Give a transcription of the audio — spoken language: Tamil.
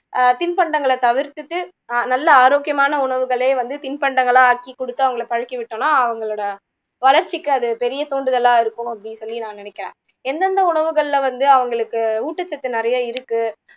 ஆஹ் திண்பண்டங்களை தவிர்த்துட்டு ஆஹ் நல்ல ஆரோக்கியமான உணவுகளே வந்து திண்பண்டங்களா ஆக்கி கொடுத்து அவங்களை பழக்கி விட்டோம்னா அவங்களோட வளர்ச்சிக்கு அது பெரிய தூண்டுதலா இருக்கும் அப்படின்னு சொல்லி நான் நினைக்குறேன் எந்தெந்த உணவுகளில வந்து அவங்களுக்கு ஊட்டச்சத்து நிறைய இருக்கு